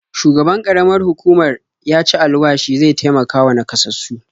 Shugaban ƙaramar hukumar ya ci alwashi zai taimakawa naƙasassu.